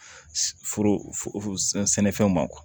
Foro sɛnɛfɛnw ma